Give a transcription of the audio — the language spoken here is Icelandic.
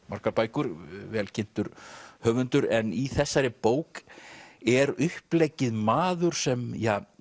margar bækur vel kynntur höfundur en í þessari bók er uppleggið maður sem